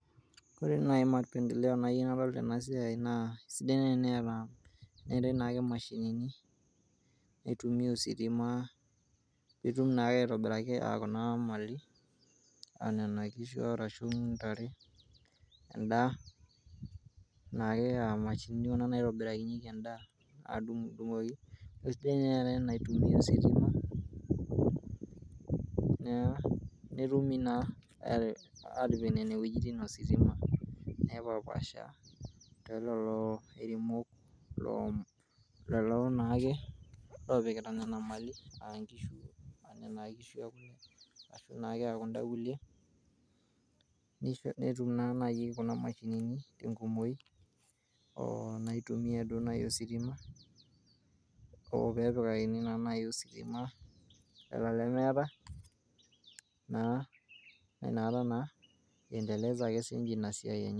Ore nai mapendeleo nayieu nadol tenasiai naa sidai nae eneata naa mashinini ositima peitum naa aitobiraa mali onona kishu arashu ntare endaa neaku enamashini ake itobirakinyeki endaa adungdungoki ,kesidai nai enaitumia ositima naa netumi na atipik nona wuejitin ositima ore lolo naake opikita nona mali ashu naake kunda kulie netum nai kunamshinini enkumoi naitumia duo ositima, peepikakini nai ositima lolo lemeeta na nakata naa naa iendeleza ake sinche inasiai enye.